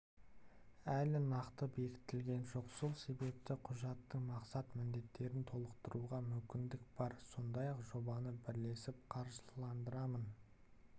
әлі нақты бекітілген жоқ сол себепті құжаттың мақсат-міндеттерін толықтыруға мүмкіндік бар сондай-ақ жобаны бірлесіп қаржыландырамын